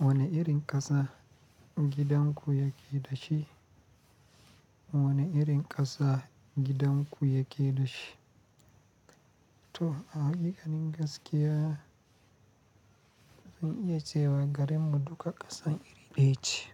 Wane irin ƙasa gidan ku yake dashi? Wane irin ƙasa gidan ku yake dashi? To, a haƙiƙanin gaskiya, zan iya cewa garin mu duka ƙasan iri ɗaya ce.